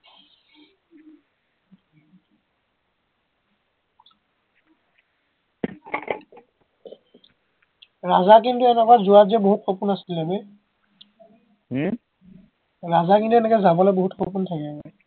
ৰাজা কিন্তু এনেকুৱা যোৱাত যে বহুত সপোন আছিলে বে হম ৰাজাৰ কিন্তু এনেকে যাবলে বহুত সপোন থাকিলে